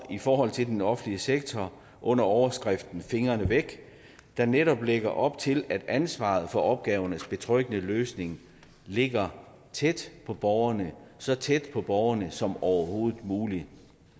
i forhold til den offentlige sektor under overskriften fingrene væk der netop lægger op til at ansvaret for opgavernes betryggende løsning ligger tæt på borgerne så tæt på borgerne som overhovedet muligt